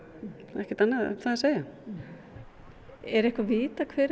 ekkert annað um það að segja er vitað hver